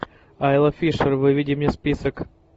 айла фишер выведи мне список